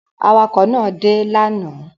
Awakọ̀ náà dé lánàá?